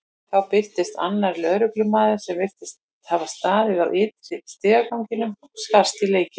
Þá birtist annar lögreglumaður sem virtist hafa staðið á ytri stigaganginum og skarst í leikinn.